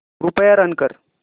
कृपया रन कर